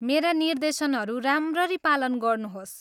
मेरा निर्देशनहरू राम्ररी पालन गर्नुहोस्।